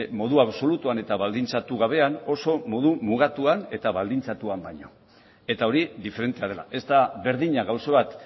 modu absolutuan eta baldintzatu gabean oso modu mugatuan eta baldintzatuan baino eta hori diferentea dela ez da berdina gauza bat